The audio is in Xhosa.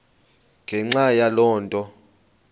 ngenxa yaloo nto